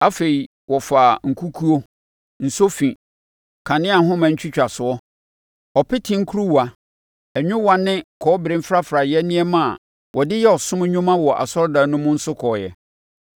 Afei, wɔfaa nkukuo, nsofi, kaneahoma twitwasoɔ, ɔpete nkuruwa, nwowaa ne kɔbere mfrafraeɛ nneɛma a wɔde yɛ ɔsom adwuma wɔ asɔredan mu no nso kɔeɛ.